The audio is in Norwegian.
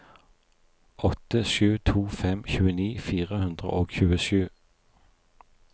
åtte sju to fem tjueni fire hundre og tjuesju